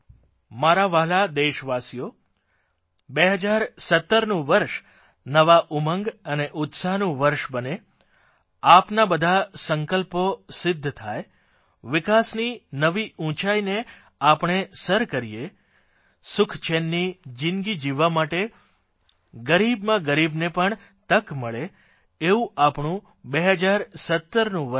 મારા વ્હાલા દેશવાસીઓ 2017નું વર્ષ નવા ઉમંગ અને ઉસ્તાહનું વર્ષ બને આપના બધા સંકલ્પો સિદ્ધ થાય વિકાસની નવી ઉંચાઇને આપણે સર કરીએ સુખચેનની જીંદગી જીવવા માટે ગરીબમાં ગરીબને પણ તક મળે એવું આપણું 2017નું વર્ષ રહે